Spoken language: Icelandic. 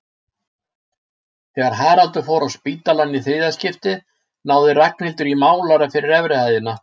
Þegar Haraldur fór á spítalann í þriðja skipti náði Ragnhildur í málara fyrir efri hæðina.